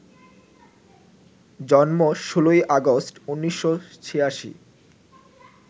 জন্ম ১৬ই আগস্ট, ১৯৮৬